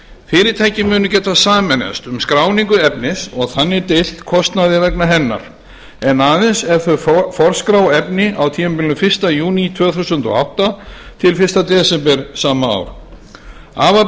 fyrirtæki munu geta sameinast um skráningu efnis og þannig deilt kostnaði vegna hennar en aðeins ef þau forskrá efnin á tímabilinu fyrsta júní tvö þúsund og átta til fyrsta desember tvö þúsund og átta afar